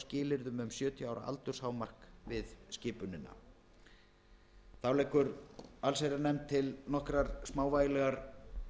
skilyrðum um sjötíu ára aldurshámark við skipunina þá leggur allsherjarnefnd til nokkrar smávægilegar